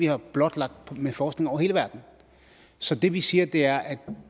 er blotlagt gennem forskning i hele verden så det vi siger er at